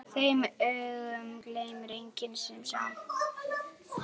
Þeim augum gleymir enginn sem sá.